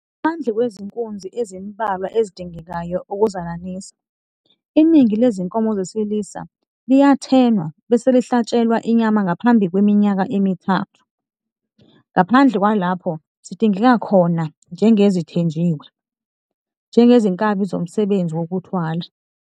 Ngaphandle kwezinkunzi ezimbalwa ezidingekayo ukuzalanisa, iningi lezinkomo zesilisa liyathenwa bese lihlatshelwa inyama ngaphambi kweminyaka emithathu, ngaphandle kwalapho zidingeka khona, njengezithenjiwe, njengezinkabi zomsebenzi wokuthwala.